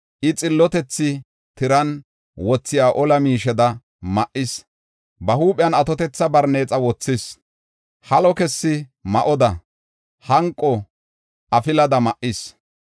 I, xillotethi tiran wothiya ola miisheda ma7is; ba huuphiyan atotetha barneexa wothis; halo kessi ma7oda, hanqo afilada ma7is.